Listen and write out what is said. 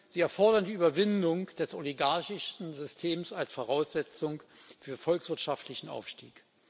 Sie erfordern die Überwindung des oligarchischen Systems als Voraussetzung für volkswirtschaftlichen Aufstieg.